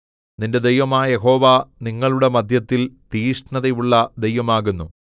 നിന്റെ ദൈവമായ യഹോവ നിങ്ങളുടെ മദ്ധ്യത്തിൽ തീക്ഷ്ണതയുള്ള ദൈവം ആകുന്നു